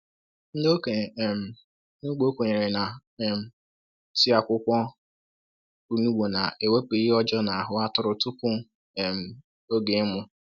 Ndị okenye um n’ugbo kwenyere na um tii akwukwo onugbu na-ewepụ ihe ọjọọ n’ahụ atụrụ tupu um oge ịmụ.